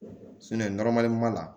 la